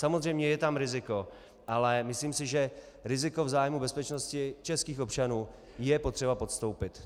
Samozřejmě je tam riziko, ale myslím si, že riziko v zájmu bezpečnosti českých občanů je potřeba podstoupit.